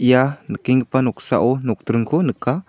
ia nikenggipa noksao nokdringko nika--